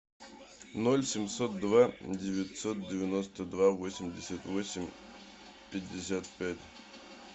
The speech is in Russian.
ноль семьсот два девятьсот девяносто два восемьдесят восемь пятьдесят пять